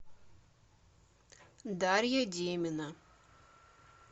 дарья демина